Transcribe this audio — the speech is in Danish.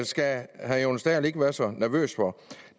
skal herre jonas dahl ikke være så nervøs for